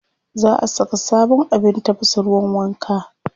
Za a saka sabon abin tafasa ruwan wanka.